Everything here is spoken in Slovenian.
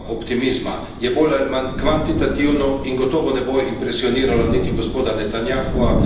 Je bolj ali manj kvantitativno in gotovo ne bo impresioniralo niti gospoda Netanjahuja niti Hamasa.